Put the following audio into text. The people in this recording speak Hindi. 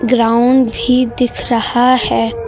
ग्राउंड भी दिख रहा है।